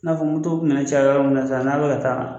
N'a fɔ moto minɛn caya yɔrɔ min san n'a bɛ ka taa